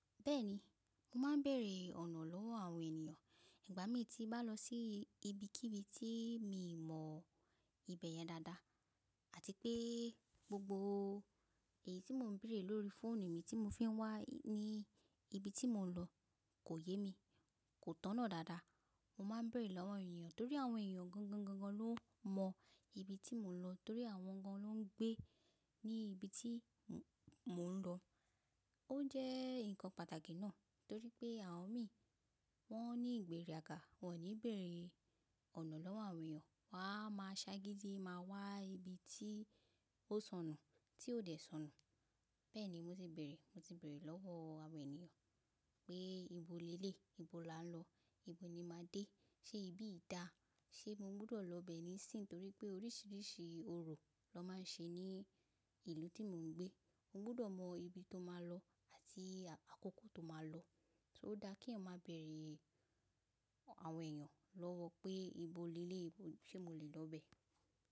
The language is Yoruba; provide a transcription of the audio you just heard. Bẹ́ẹ̀ni, mo máa ń bèèrè ọ̀nà lọ́wọ́ àwọn ènìyàn ìgbà mí tí bá lọ sí ibi kí ibi tí mi mọ ibẹ̀ yẹn dáadáa àti pé gbogbo èyí tí mò ń béèrè lórí fóònù mi tí mo fi ń wá ní ibi tí mò ń lọ kò yé mi, kò tọ̀nà dáadáa. Mo máa ń bèèrè lọ́wọ́ ènìyàn torí àwọn ènìyàn gangan gangan ló mọ ibi tí mò ń lọ torí àwọn gan ló ń gbé ní ibi tí mò ń lọ. Ó jẹ́ nǹkan pàtàkì náà torí pé àwọn mi wọ́n ní ìgbéraga, wọ́n ò ní bèèrè ọ̀nà lọ́wọ́ àwọn ènìyàn. Wọn á máa sá gidi máa wá ibi tí ó sọnù, tí ó dẹ̀ sọnù. Bẹ́ẹ̀ni mo ti bèèrè, mo ti bèèrè lọ́wọ́ àwọn ènìyàn pé ibo leléyìí? Ibo la ń lọ? Ibo ni màá dé? Ṣé ibí yìí dà? Ṣé mo gbọdọ̀ lọ bẹ́ẹ̀ níìsín? Torí pé oríṣiríṣi orò ló máa ń ṣe ní ìlú tí mò ń gbé. Mo gbọdọ̀ mọ ibi tó máa lọ àti àkókò tó máa lọ. So ó dà k’èèyàn máa bèèrè àwọn ènìyàn lọ́wọ́ pé ibo leléyi, ṣe mo lè lọ bẹ́ẹ̀?